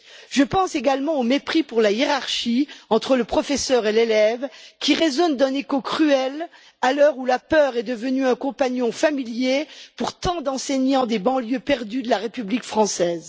Je pense également au mépris pour la hiérarchie entre le professeur et l'élève, qui résonne d'un écho cruel à l'heure où la peur est devenue un compagnon familier pour tant d'enseignants des banlieues perdues de la République française.